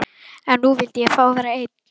En nú vildi ég fá að vera einn.